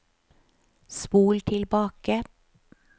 spol tilbake